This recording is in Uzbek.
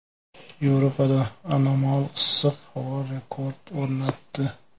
Yevropada anomal issiq havo rekord o‘rnatdi.